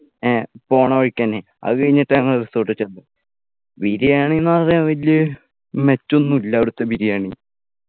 എഹ് പോണ വഴിക്കെന്നെ അതുകഴിഞ്ഞിട്ട് ഞങ്ങൾ resort ൽ ചെന്നു ബിരിയാണി എന്ന് പറഞ്ഞാൽ വലിയ മെച്ച ഒന്നുല്ല അവിടുത്തെ ബിരിയാണി